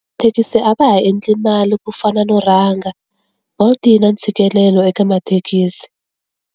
Thekisi a va ha endli mali ku fana no rhanga. Bolt yi na ntshikelelo eka mathekisi.